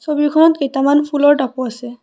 ছবিখনত কেইটামান ফুলৰ টাবো আছে।